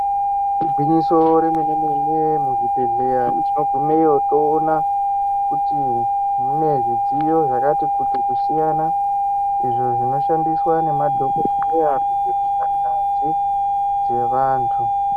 Igwinyiso remene mene muzvibhehlera tinoguneyo toona kuti mune zvidziyo zvakati kuti kusiyana izvo zvinoshandiswa nemadhokodheya kuhloya ngazi dzevantu.